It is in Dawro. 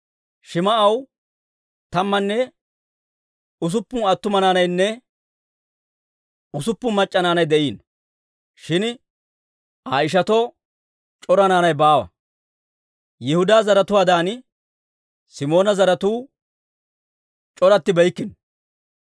Shim"aw tammanne usuppun attuma naanaynne usuppun mac'c'a naanay de'iino; shin Aa ishatoo c'ora naanay baawa. Yihudaa zaratuwaadan Simoona zaratuu c'orattibeykkino.